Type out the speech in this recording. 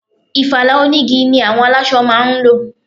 Ìfala onigi ni àwọn aláṣọ máa ń lò.